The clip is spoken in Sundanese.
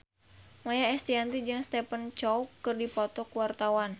Maia Estianty jeung Stephen Chow keur dipoto ku wartawan